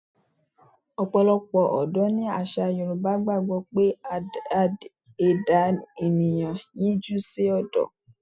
Ọ̀pọ̀lọpọ̀ Odò ní àṣà Yorùbá gbàgbọ́ pé ẹ̀dá ènìyàn yíjú sí odò.